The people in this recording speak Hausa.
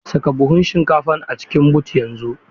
Saka buhun shinkafan a cikin but yanzu!